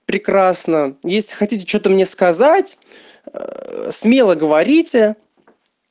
прекрасно если хотите что-то мне сказать смело говорите